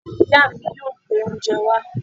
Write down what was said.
Ìya mi yóò gbé oúnjẹ wá